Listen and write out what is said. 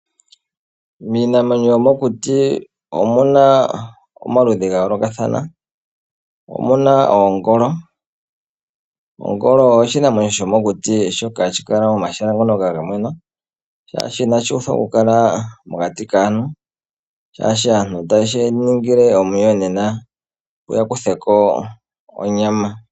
Miinamwenyo yomokuti omuna omaludhi gayoolokathana. Omuna oongolo, ongolo oshinamwenyo shomokuti shoka hashi kala momahala ngoka gamwena shaashi inashuuthwa okukala mokati kaantu, shaashi aantu otaye shiningile omuyonena opo yakuthe ko onyama.